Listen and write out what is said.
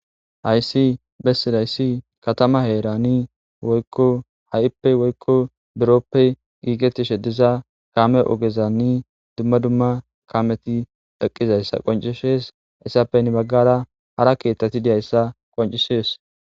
Hayssi bessidayssi katama heerani ha'ippe woykko biroppe giigetti sheddiza kaame ogezanni dumma dumma kameti dheqqizayssa qoncishees issappenni baggara hara keeththati diyayssa qoncishees.